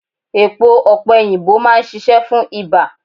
Èpo opeyinbo máa ń ṣíṣe fún ibà.